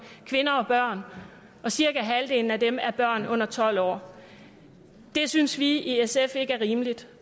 kvinder og børn og cirka halvdelen af dem er børn under tolv år det synes vi i sf ikke er rimeligt